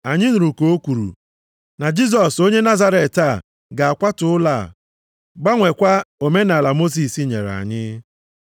Anyị nụrụ ka o kwuru, na Jisọs onye Nazaret a ga-akwatu ụlọ a, gbanwekwa omenaala Mosis nyere anyị.”